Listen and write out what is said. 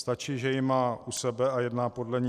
Stačí, že ji má u sebe a jedná podle ní.